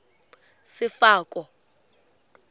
sefako